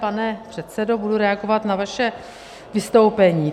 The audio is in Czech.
Pane předsedo, budu reagovat na vaše vystoupení.